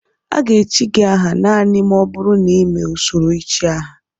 A ga-echi gị aha naanị ma ọ bụrụ na ị mee usoro ichi aha